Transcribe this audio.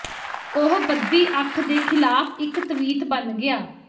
ਉਹ ਬਦੀ ਅੱਖ ਦੇ ਖਿਲਾਫ ਇੱਕ ਤਵੀਤ ਬਣ ਗਿਆ